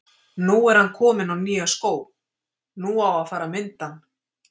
Nú er ann kominn á nýja skó, nú á að fara að mynda ann.